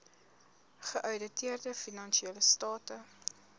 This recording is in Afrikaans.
geouditeerde finansiële state